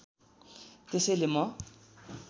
त्यसैले म